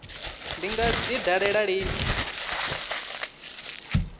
ndi nga dzi dalela lini